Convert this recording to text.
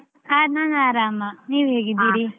ಹ ನಾನು ಆರಾಮ. ನೀವು ಹೇಗಿದ್ದೀರಿ?